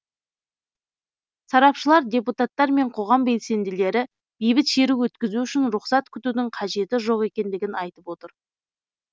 сарапшылар депутаттар мен қоғам белсенділері бейбіт шеру өткізу үшін рұқсат күтудің қажеті жоқ екендігін айтып отыр